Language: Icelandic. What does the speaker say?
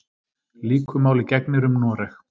Líku máli gegnir um Noreg.